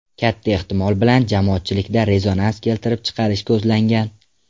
Katta ehtimol bilan, jamoatchilikda rezonans keltirib chiqarish ko‘zlangan.